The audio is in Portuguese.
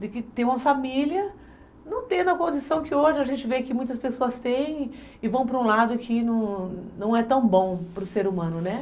de que tem uma família, não tendo a condição que hoje a gente vê que muitas pessoas têm e vão para um lado que não é tão bom para o ser humano, né?